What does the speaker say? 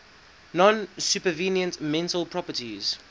non supervenient mental properties